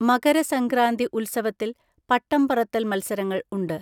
മകരസംക്രാന്തി ഉത്സവത്തിൽ പട്ടം പറത്തൽ മത്സരങ്ങൾ ഉണ്ട്.